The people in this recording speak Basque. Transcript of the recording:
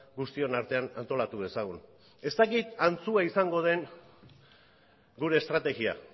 guztion artean antolatu dezagun ez dakit antzua izango den gure estrategia